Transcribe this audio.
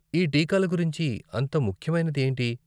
ఈ టీకాల గురించి అంత ముఖ్యమైనది ఏంటి?